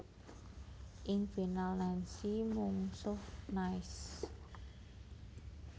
Ing final Nancy mungsuh Nice